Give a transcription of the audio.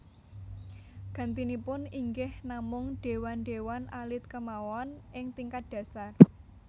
Gantinipun inggih namung déwan déwan alit kémawon ing tingkat dhasar